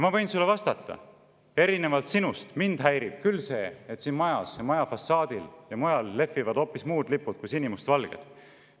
Ma võin sulle vastata: erinevalt sinust häirib mind küll see, et siin majas, selle maja fassaadil ja mujal lehvivad hoopis muud lipud kui sinimustvalged.